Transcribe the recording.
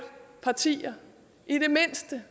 partier i det mindste